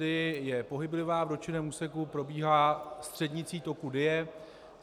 Dyji je pohyblivá, v dotčeném úseku probíhá střednice toku Dyje.